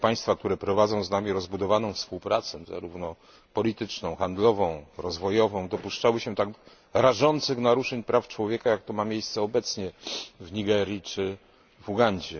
państwa, które prowadzą z nami rozbudowaną współpracę zarówno polityczną, handlową, jak i rozwojową dopuszczały się tak rażących naruszeń praw człowieka, jak to ma miejsce obecnie w Nigerii czy w Ugandzie.